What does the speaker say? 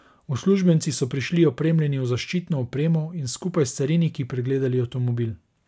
Uslužbenci so prišli opremljeni v zaščitno opremo in skupaj s cariniki pregledali avtomobil.